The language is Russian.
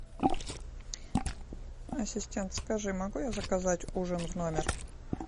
ассистент скажи могу я заказать ужин в номер